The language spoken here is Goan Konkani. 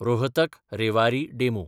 रोहतक–रेवारी डेमू